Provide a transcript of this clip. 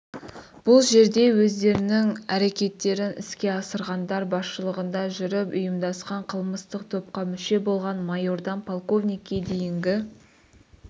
бұл жерде өздерінің әрекеттерін іске асырғандар басшылығында жүріп ұйымдасқан қылмыстық топқа мүше болған майордан полковникке дейінгі